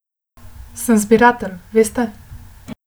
Sem zbiratelj, veste.